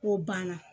O banna